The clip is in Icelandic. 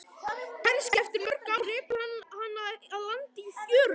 Kannski eftir mörg ár rekur hana að landi í fjörunni.